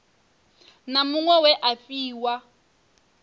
na muṅwe we a fhiwa